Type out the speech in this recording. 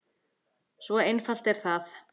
Svo einfalt er það!